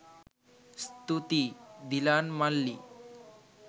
ස්තුතියි දිලාන් මල්ලි.